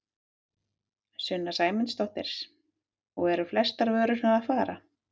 Sunna Sæmundsdóttir: Og eru flestar vörurnar að fara?